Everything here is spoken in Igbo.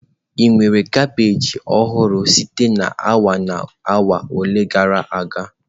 Ị nwere kabeeji ọhụrụ sitere na awa ole na ole gara aga?